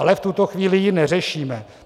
Ale v tuto chvíli ji neřešíme.